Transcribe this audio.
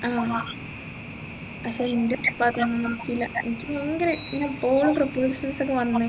ആ പക്ഷേ എൻെറ ഉപ്പാക്ക് ഒന്നും നടക്കൂല എനിക്ക് proposals ഒക്കെ വന്നു